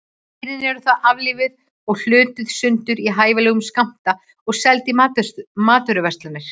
Dýrin eru þá aflífuð og hlutuð sundur í hæfilega skammta og seld í matvöruverslunum.